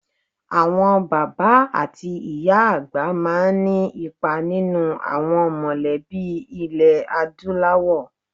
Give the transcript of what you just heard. Àwọn bàbá àti ìyá àgbà máa ní ipa nínú àwọn mọ̀lẹ́bí ilẹ̀ Adúláwọ̀.